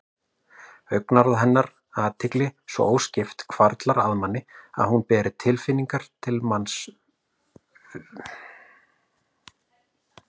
Augnaráð hennar, athygli svo óskipt, hvarflar að manni að hún beri til manns vissar tilfinningar.